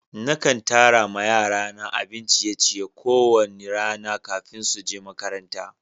Na kan tara ma yara na abin ciye-ciye ko wani rana kafin su je makaranta.